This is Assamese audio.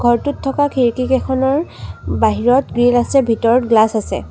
ঘৰটোত থকা খিৰিকী কেইখনৰ বাহিৰত গ্ৰিল আছে ভিতৰত গ্লাচ আছে।